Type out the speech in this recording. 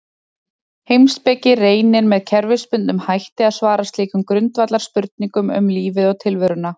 Heimspeki reynir með kerfisbundnum hætti að svara slíkum grundvallarspurningum um lífið og tilveruna.